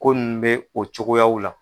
Ko nin bɛ o cogoyaw la.